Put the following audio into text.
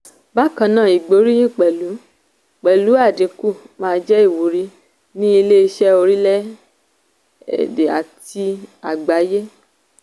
bákan náà ìgbóríyìn pẹ̀lú pẹ̀lú àdínkù máa jẹ́ ìwúrí ní ilé-iṣẹ́ orílẹ̀ èdè àti àgbáyé.